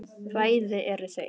Bæði eru þau